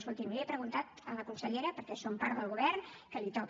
escolti’m ho he preguntat a la consellera perquè som part del govern que li toca